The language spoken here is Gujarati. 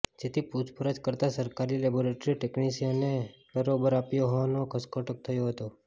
જેથી પૂછપરછ કરતાં સરકારી લેબોરેટરી ટેકનીશ્યને બારોબાર આપ્યો હોવાનો ઘટસ્ફોટ થયો હતો